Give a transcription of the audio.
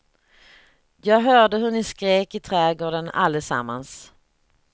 Jag hörde hur ni skrek i trädgården allesammans.